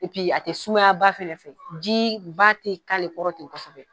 a tɛ sumaya ba fɛ ji ba tɛ k'ale kɔrɔ ten kosɛbɛ.